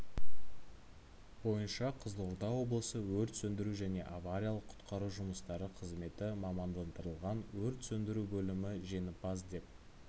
бойынша қызылорда облысы өрт сөндіру және авариялық-құтқару жұмыстары қызметі мамандандырылған өрт сөндіру бөлімі жеңімпаз деп